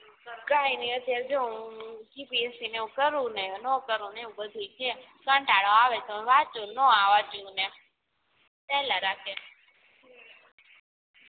કઈ નઇ અત્યારે જો હુ GPSC ને આવું કરું નો કરું એવું બધુંય છે કટાળો આવે તો વાંચું નોય વાંચુ